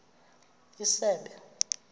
isebe